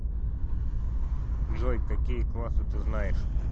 джой какие классы ты знаешь